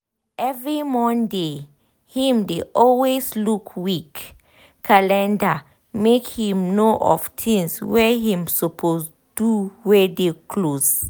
every monday him dey always look week calendar make him know of tinz wey him suppose do wey dey close